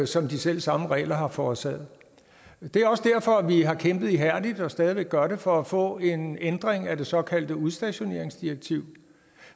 som de selv samme regler har forårsaget det er også derfor vi har kæmpet ihærdigt og stadig væk gør det for at få en ændring af det såkaldte udstationeringsdirektiv